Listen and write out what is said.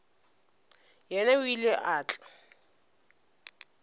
yena o ile a tla